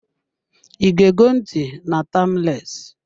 I ge go ntị na "Timeless"